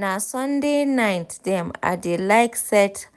na sunday night dem i dey like set